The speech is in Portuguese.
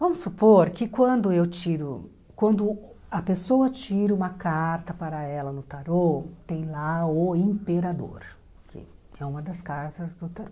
Vamos supor que quando eu tiro, quando a pessoa tira uma carta para ela no tarô, tem lá o imperador, que é uma das cartas do tarô.